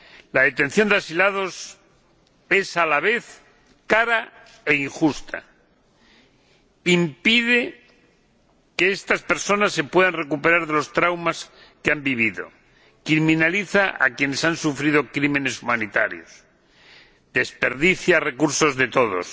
La detención de asilados es, a la vez, cara e injusta, impide que estas personas se puedan recuperar de los traumas que han vivido, criminaliza a quienes han sufrido crímenes contra la humanidad, desperdicia recursos de todos.